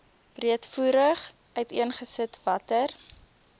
breedvoerig uiteengesit watter